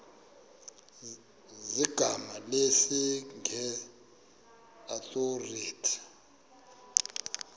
zegama lesngesn authorit